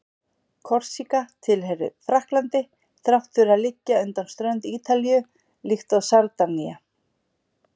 Korsíka tilheyrir Frakklandi þrátt fyrir að liggja undan strönd Ítalíu, líkt og Sardinía.